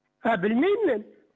а білмеймін мен